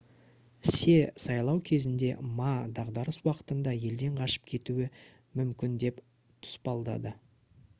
се сайлау кезінде ма дағдарыс уақытында елден қашып кетуі мүмкін деп тұспалдады